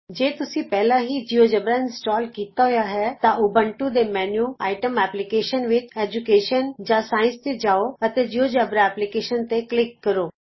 ਜੇ ਤੁਸੀਂ ਪਹਿਲਾਂ ਹੀ ਜਿਉਜੇਬਰਾ ਇੰਸਟਾਲ ਕੀਤਾ ਹੋਇਆ ਹੈ ਤਾਂ ਊਬੰਤੂ ਦੇ ਮੈਨਯੂ ਆਈਟਮ ਐੈਪਲੀਕੇਸ਼ਨਜ਼ ਵਿਚ ਐਜੁਕੇਸ਼ਨ ਜਾਂ ਸਾਇੰਸ ਤੇ ਜਾਉ ਅਤੇ ਜਿਉਜੇਬਰਾ ਐਪਲੀਕੇਸ਼ਨਜ਼ ਤੇ ਕਲਿਕ ਕਰੋ